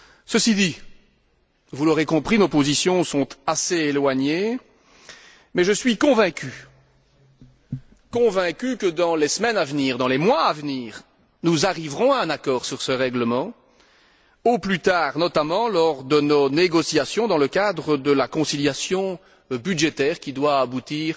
Ceci dit vous l'aurez compris nos positions sont assez éloignées, mais je suis convaincu que, dans les semaines à venir, dans les mois à venir, nous arriverons à un accord sur ce règlement, au plus tard, notamment, lors de nos négociations dans le cadre de la conciliation budgétaire qui doit aboutir